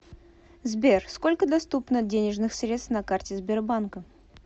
сбер сколько доступно денежных средств на карте сбербанка